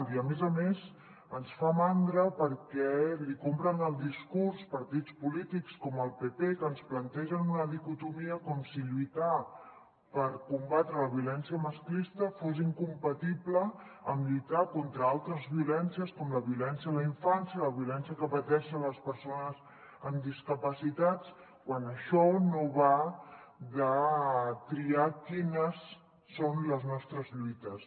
i a més a més ens fa mandra perquè compren el discurs a partits polítics com el pp que ens plantegen una dicotomia com si lluitar per combatre la violència masclista fos incompatible amb lluitar contra altres violències com la violència a la infància la violència que pateixen les persones amb discapacitats quan això no va de triar quines són les nostres lluites